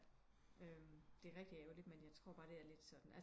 Det er rigtigt ærgerligt men jeg tror bare det er lidt sådan